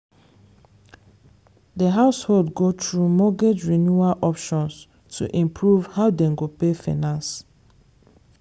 the household go through mortgage renewal options to improve how dem go pay finance.